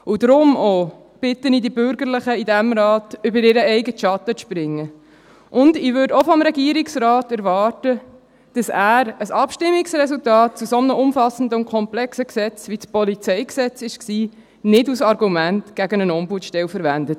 Auch darum bitte ich auch die Bürgerlichen in diesem Rat, über ihren eigenen Schatten zu springen, und ich würde auch vom Regierungsrat erwarten, dass er ein Abstimmungsresultat zu so einem umfassenden und komplexen Gesetz, wie es das Polizeigesetz (PolG) war, nicht als Argument gegen eine Ombudsstelle verwendet;